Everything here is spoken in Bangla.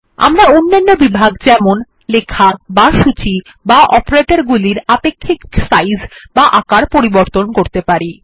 আমরা অন্যান্য বিভাগ যেমন লেখা বা সূচী বা অপারেটর গুলির আপেক্ষিক সাইজ বা আকার পরিবর্তন করতে পারি